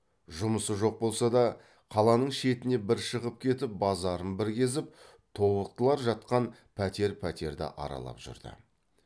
жұмысы жоқ болса да қаланың шетіне бір шығып кетіп базарын бір кезіп тобықтылар жатқан пәтер пәтерді аралап жүрді